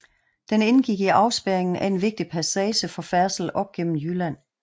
Den indgik i afspærringen af en vigtig passage for færdsel op gennem Jylland